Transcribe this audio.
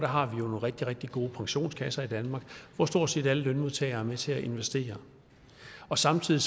har nogle rigtig rigtig gode pensionskasser i danmark hvor stort set alle lønmodtagere er med til at investere samtidig